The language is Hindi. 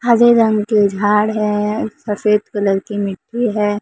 हरे रंग की झाड़ है सफेद कलर की मिट्टी है।